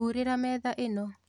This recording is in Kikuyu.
Hurĩra metha ĩno